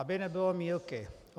Aby nebylo mýlky.